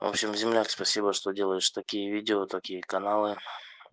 вообщем земляк спасибо что делаешь такие видео такие каналы